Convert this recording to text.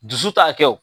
Dusu ta kɛ o